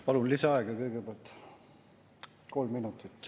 Palun lisaaega kõigepealt, kolm minutit.